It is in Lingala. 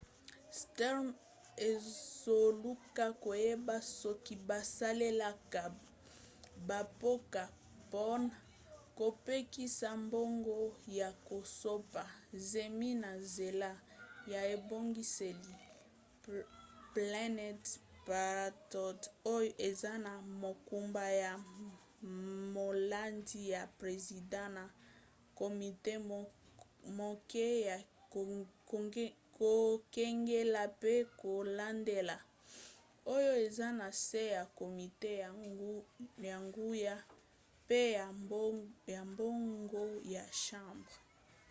stearns azoluka koyeba soki basalelaka bampako mpona kopekisa mbongo ya kosopa zemi na nzela ya ebongiseli planned parenthood oyo eza na mokumba ya molandi ya president na komite moke ya kokengela pe kolandela oyo eza na se ya komite ya nguya pe ya mbongo ya chambre